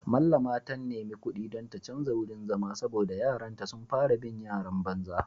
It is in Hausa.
Mallama ta nemi kudi don ta canja wurin zama saboda yaranta sun fara bin yaran banza.